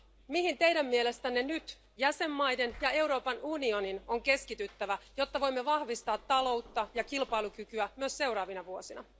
Mihin teidän mielestänne nyt jäsenvaltioiden ja Euroopan unionin on keskityttävä, jotta voimme vahvistaa taloutta ja kilpailukykyä myös seuraavina vuosina?